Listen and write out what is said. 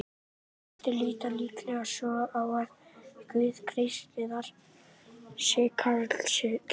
Flestir líta líklega svo á að Guð kristninnar sé karlkyns.